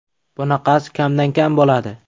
Bunaqasi kamdan kam bo‘ladi.